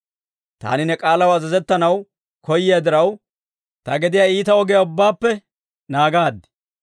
Taani ne k'aalaw azazettanaw koyiyaa diraw, ta gediyaa iita ogiyaa ubbaappe naagaad.